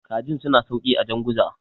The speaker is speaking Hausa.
kajin suna sauki a janguza